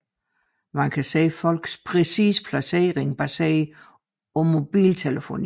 Man kan se folks præcise placering baseret på mobiltelefoni